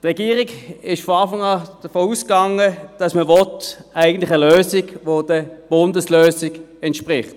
Die Regierung ging von Anfang an davon aus, dass man eine Lösung will, die der Bundeslösung entspricht.